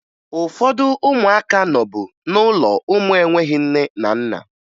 Ụfọdụ ụmụaka nọbu n'ụlọ ụmụ enweghi nne na nna